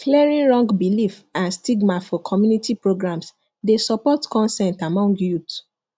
clearing wrong beliefs and stigma for community programs dey support consent among youths